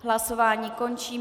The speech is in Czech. Hlasování končím.